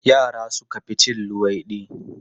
Yara suka fi cin luwaiɗi.